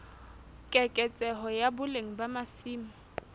keketseho ya boleng ba masimo